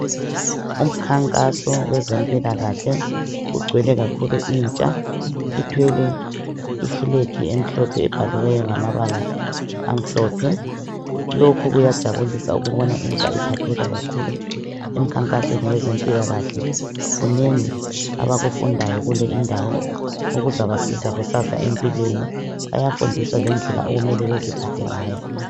Umkhankaso wezempilakahle kugcwele kakhulu intsha ifulegi emhlophe ebhaliweyo ngamabala amhlophe lokhu kuyajabulisa ukubona intsha iphatheka emikhankasweni yezempilakahle kunengi abakufundayo kule indawo okuzabasiza kusasa empilweni bayafundiswa lendlela okumele beziphathe ngayo